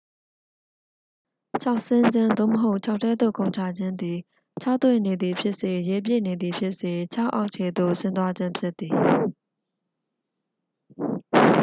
ချောက်ဆင်းခြင်း သို့မဟုတ် ချောက်ထဲသို့ခုန်ချခြင်း သည် ခြောက်သွေ့နေသည်ဖြစ်စေ ရေပြည့်နေသည်ဖြစ်စေ ချောက်အောက်ခြေသို့ ဆင်းသွားခြင်းဖြစ်သည်။